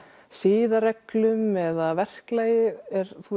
siðareglum eða verklagi er